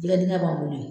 Jɛgɛ dingɛ b'an bolo